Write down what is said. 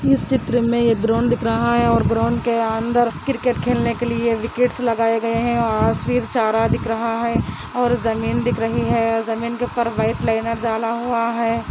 इस चित्र में ग्राउंड दिख रहा है ओवर ग्राउंड के अन्दर क्रिकेट खेलने केलिए विकेट्स लग रहा हे ासवेर चारा दिक् रहा हे और जमीन दिक् रहा हे जमीन पर वाइट लाइनर जाना हे |